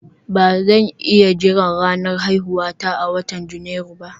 Ba zan iya jira ranar haihuwata a watan Janairu ba